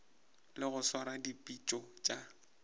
le go swara dipitšo tša